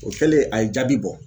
O kɛlen a ye jaabi bɔ